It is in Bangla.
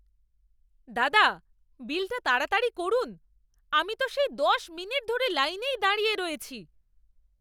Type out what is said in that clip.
দাদা, বিলটা তাড়াতাড়ি করুন! আমি তো সেই দশ মিনিট ধরে লাইনেই দাঁড়িয়ে রয়েছি।